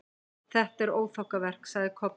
Þetta er óþokkaverk, sagði Kobbi.